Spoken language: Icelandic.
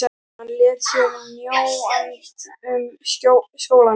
Hann lét sér mjög annt um skólann.